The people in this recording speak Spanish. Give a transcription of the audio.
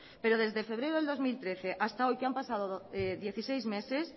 pero desde febrero de dos mil trece hasta hoy que han pasado dieciséis meses